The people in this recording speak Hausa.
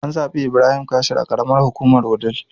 An zaɓi Ibrahim Kashim a karamar hukumar wudil